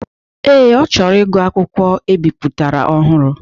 Ee, ọ chọrọ ịgụ akwụkwọ ebiputara ọhụrụ.